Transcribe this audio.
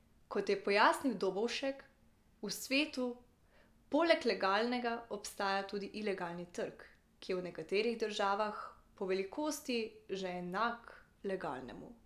Kot je pojasnil Dobovšek, v svetu poleg legalnega obstaja tudi ilegalni trg, ki je v nekaterih državah po velikosti že enak legalnemu.